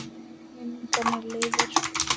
Minning hennar lifir.